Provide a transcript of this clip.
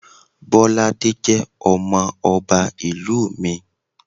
Bolade jẹ́ ọmọ ọba ìlú mi.